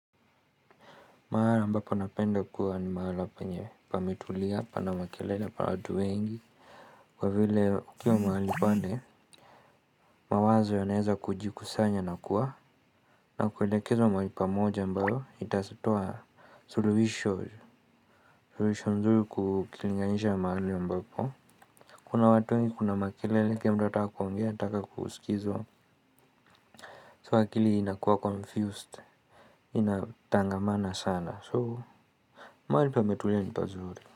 Mahala ambapo napenda kuwa ni mahala penye pametuli hapana makelele pa watu wengi kwa vile ukiwa mahali pande, mawazo yanaweza kujikusanya na kuwa na kuwaelekezo mahali pamoja ambayo itatoa suluhisho suluhisho nzuri kukilinganisha mahali ambapo kuna watu wengi kuna makelele kila mtu ataka kuongea ataka kusikizwa sa akili inakuwa confused, inatangamana sana so mahali pametuli ni pazuri.